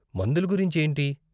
మందుల గురించి ఏంటి?